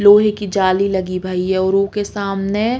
लोहे की जाली लगी भई है और ऊके सामने --